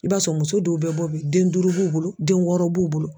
I b'a sɔrɔ muso dɔw bɛ bɔ bi den duuru b'u bolo den wɔɔrɔ b'u bolo.